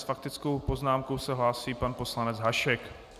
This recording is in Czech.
S faktickou poznámkou se hlásí pan poslanec Hašek.